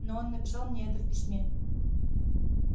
но он написал мне это в письме